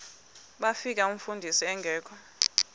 bafika umfundisi engekho